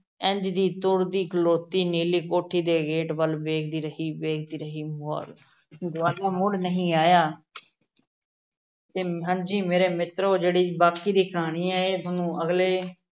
ਇੰਞ ਦੀ ਤੁਰਦੀ ਖਲੋਤੀ ਨੀਲੀ ਕੋਠੀ ਦੇ gate ਵੱਲ ਵੇਖਦੀ ਰਹੀ, ਵੇਖਦੀ ਰਹੀ, ਗਵਾ~ ਗਵਾਲਾ ਮੁੜ ਨਹੀਂ ਆਇਆ ਤੇ ਹਾਂਜੀ ਮੇਰੇ ਮਿਤਰੋ ਜਿਹੜੀ ਬਾਕੀ ਦੀ ਕਹਾਣੀ ਹੈ ਇਹ ਤੁਹਾਨੂੰ ਅਗਲੇ